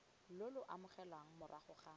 lo lo amogelwang morago ga